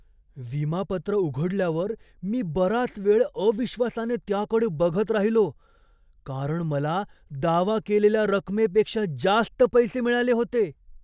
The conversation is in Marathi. विमा पत्र उघडल्यावर मी बराच वेळ अविश्वासाने त्याकडे बघत राहिलो, कारण मला दावा केलेल्या रकमेपेक्षा जास्त पैसे मिळाले होते.